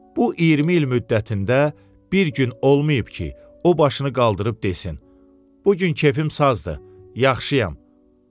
Bu 20 il müddətində bir gün olmayıb ki, o başını qaldırıb desin: "Bu gün kefim sazdır, yaxşıyam."